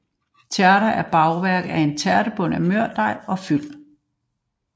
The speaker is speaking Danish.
Tærter er bagværk af en tærtebund af mørdej og fyld